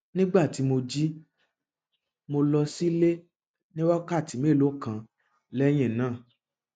nígbà tí mo jí mo lọ sílé ní wákàtí mélòó kan lẹyìn náà